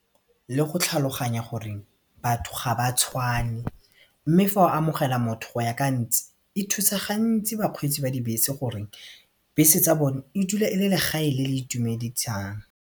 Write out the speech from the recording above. Le go tlhaloganya gore batho ga ba tshwane mme fa o amogela motho go ya ka a ntse e thusa gantsi bakgweetsi ba dibese gore bese tsa bone e dula e le legae le le itumedisang.